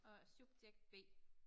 Og subjekt B